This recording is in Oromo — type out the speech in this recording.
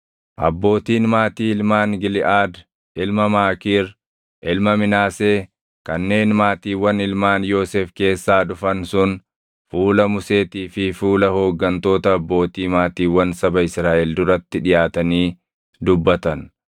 Abbootiin maatii ilmaan Giliʼaad ilma Maakiir, ilma Minaasee kanneen maatiiwwan ilmaan Yoosef keessaa dhufan sun fuula Museetii fi fuula hooggantoota abbootii maatiiwwan saba Israaʼel duratti dhiʼaatanii dubbatan;